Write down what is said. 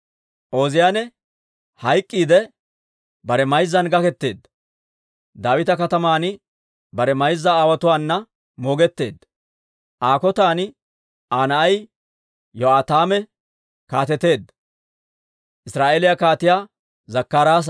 Ooziyaane hayk'k'iidde, bare mayzzan gaketeedda; Daawita Kataman bare mayza aawotuwaana moogetteedda. Aa kotan Aa na'ay Yo'aataame kaateteedda.